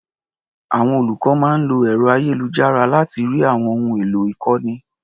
Àwọn olùkọ́ máa ń lo ẹ̀ro-ayélujára láti rí àwọn ohun èlò ìkọ́ni.